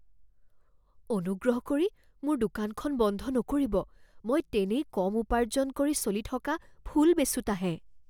অনুগ্ৰহ কৰি মোৰ দোকানখন বন্ধ নকৰিব। মই তেনেই কম উপাৰ্জন কৰি চলি থকা ফুল বেচোঁতাহে।